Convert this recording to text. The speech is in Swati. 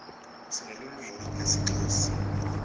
sinelulwimi lesixhosa